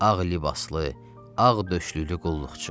Ağ libaslı, ağ döşlüklü qulluqçu.